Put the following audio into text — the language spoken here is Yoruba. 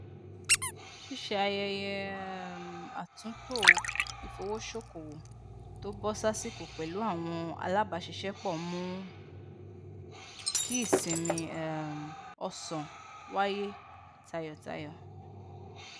ṣíṣe ayẹyẹ um àtúntò ìfowósókowò tó bọ sásìkò pẹlú àwọn alábàáṣiṣẹpọ mu ki ìsinmi um ọsán waye tayọtayọ